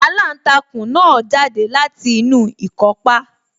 Aláǹtakùn náà jáde láti inú ikọ́pá